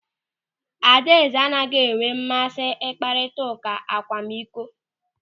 Adaeze anaghị enwe mmasị mkparịta ụka akwamikọ.